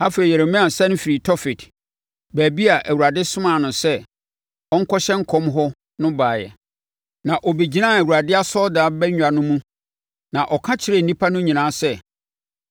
Afei Yeremia sane firii Tofet, baabi a Awurade somaa no sɛ ɔnkɔhyɛ nkɔm hɔ no baeɛ, na ɔbɛgyinaa Awurade asɔredan abangua mu na ɔka kyerɛɛ nnipa no nyinaa sɛ,